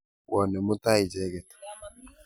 Pwone mutai icheket.